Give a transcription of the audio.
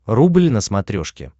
рубль на смотрешке